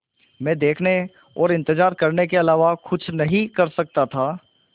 मैं देखने और इन्तज़ार करने के अलावा कुछ नहीं कर सकता था